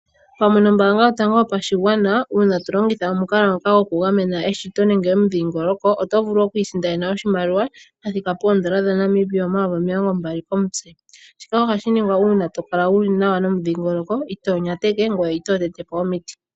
Pamwe nombaanga yotango yopashigwana uuna to longitha omukalo ngoka goku gamena eshito nenge omudhingoloko, oto vulu oku isindanena oshimaliwa sha thika poondola dhaNamibia omayovi omilongo mbali komutse. Shika ohashi ningwa uuna to kala wuli nawa nomudhingoloko, itoo nyateke ngoye itoo tete po omiti.